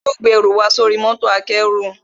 Wọn yóò gbé ẹnù wa sóri mọ́tò akẹ́rù